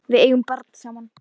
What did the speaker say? Við eigum barn saman.